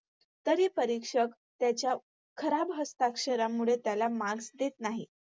तरी परीक्षक त्याला त्याच्या खराब हस्ताक्षरांमुळे त्याला Marks देत नाही.